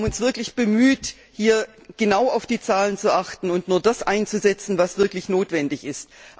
Wir haben uns wirklich bemüht, hier genau auf die Zahlen zu achten und nur das einzusetzen, was wirklich notwendig ist.